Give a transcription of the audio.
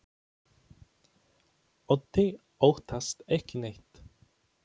Otti óttast ekki neitt!